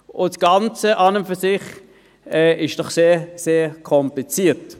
Das Ganze ist an und für sich doch sehr, sehr kompliziert.